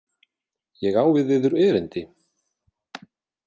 Ég á við yður erindi.